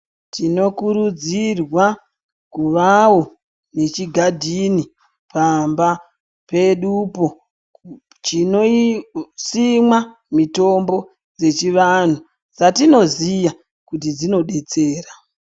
Tino kurudzirwa kuvawo nechigadhini pambapedupo chinosimwa mitombo dzechivantu dzatinoziya kuti dzinodetsera.